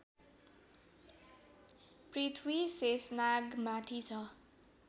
पृथ्वी शेषनागमाथि छ